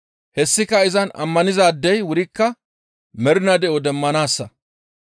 Hessika izan ammanizaadey wurikka mernaa de7o demmanaassa.